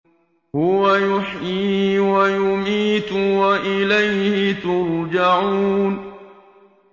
هُوَ يُحْيِي وَيُمِيتُ وَإِلَيْهِ تُرْجَعُونَ